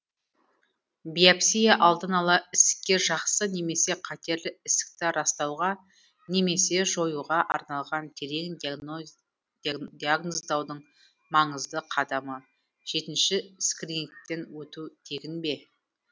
биопсия алдын ала ісікке жақсы немесе қатерлі ісікті растауға немесе жоюға арналған терең диагноздаудың маңызды қадамы жетінші скринингтен өту тегін бе